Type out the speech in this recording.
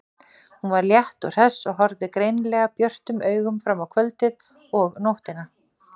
Hún var létt og hress og horfði greinilega björtum augum fram á kvöldið og nóttina.